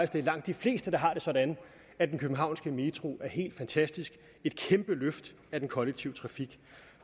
det er langt de fleste der har det sådan at den københavnske metro er helt fantastisk et kæmpe løft af den kollektive trafik